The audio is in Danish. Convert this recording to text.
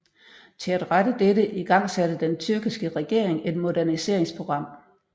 Til at rette dette igangsatte den tyrkiske regering et moderniseringsprogram